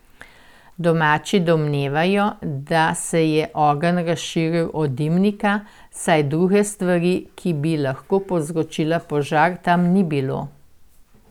Domači domnevajo, da se je ogenj razširil od dimnika, saj druge stvari, ki bi lahko povzročila požar, tam ni bilo.